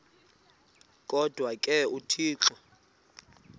kodwa ke uthixo